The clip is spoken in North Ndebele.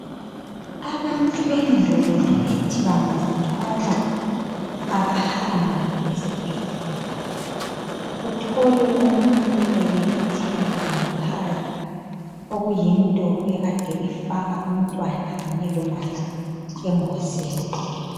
Abantu bendulo bebethi bangazithwala abahambi esibhedlela. Uthole umuntu ebelethela ekhaya okuyinto ekade ifaka umntwana Kanye lomama engozini.